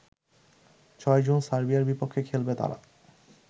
৬ June সার্বিয়ার বিপক্ষে খেলবে তারা